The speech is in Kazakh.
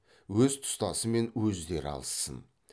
өз тұстасымен өздері алыссын